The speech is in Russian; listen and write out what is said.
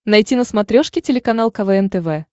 найти на смотрешке телеканал квн тв